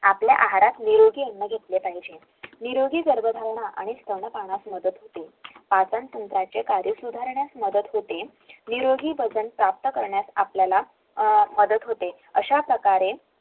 आपल्या आहारात नीरोगी अन्न घेतले पहिले निरोगी गर्भधारणा आणि स्तनपानास मदत होते आपण कार्य सुधारण्यास मदत होते निरोगी वजन प्राप्त करण्यास आपल्याला मदत होते अश्याप्रकारे